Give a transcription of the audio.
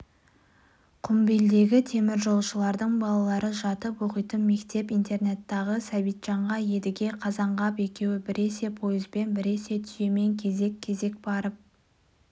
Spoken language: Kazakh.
құмбелдегі теміржолшылардың балалары жатып оқитын мектеп-интернаттағы сәбитжанға едіге қазанғап екеуі біресе пойызбен біресе түйемен кезек-кезек барып